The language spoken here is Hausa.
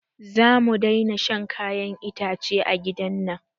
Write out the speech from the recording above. Zamu daina shan kayan itace a gidan nan